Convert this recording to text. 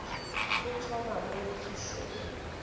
e thoma moo phišo e